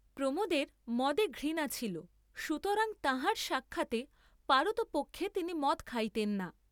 প্রমোদের মদে ঘৃণা ছিল, সুতরাং তাঁহার সাক্ষাতে পারতপক্ষে তিনি মদ খাইতেন না।